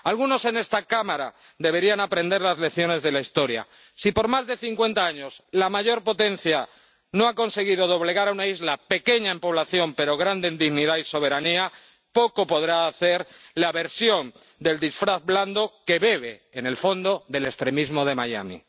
Algunos en esta Cámara deberían aprender las lecciones de la historia si por más de cincuenta años la mayor potencia no ha conseguido doblegar a una isla pequeña en población, pero grande en dignidad y soberanía, poco podrá hacer la versión del disfraz blando que bebe, en el fondo, del extremismo de Miami.